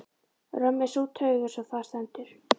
Römm er sú taug, eins og þar stendur